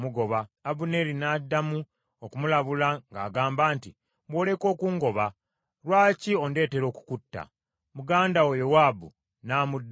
Abuneeri n’addamu okumulabula ng’agamba nti, “Bw’oleka okungoba! Lwaki ondeetera okukutta? Muganda wo Yowaabu nnaamudda wa?”